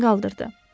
Başını qaldırdı.